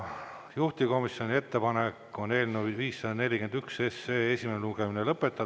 Juhtivkomisjoni ettepanek on eelnõu 541 esimene lugemine lõpetada.